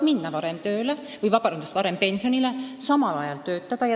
Inimene saab minna varem pensionile ja samal ajal töötada.